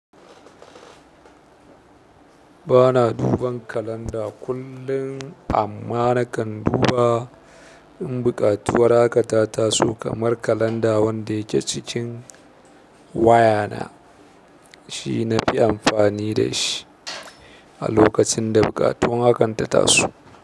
Ba na duban kalanda kullum, amma nakan duba in buƙatuwar hakan ta taso. Kamar kalanda wanda yake cikin waya na shi na fi amfani da shi a lokacin da buƙatun hakan ta taso.